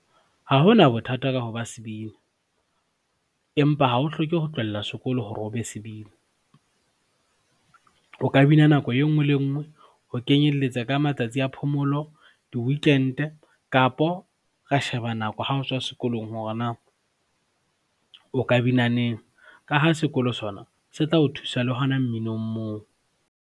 Ha hona bothata ka ho ba sebini, empa ha ho hloke ho tlohela sekolo hore o be sebini. O ka bina nako e ngwe le e ngwe ho kenyelletsa ka matsatsi a phomolo, diwikente kapo ra sheba nako ha o tswa sekolong hore na, o ka bina neng ka ha sekolo sona se tla o thusa le hona mminong moo.